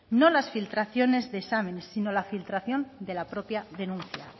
no las filtraciones de exámenes sino la filtración de la propia denuncia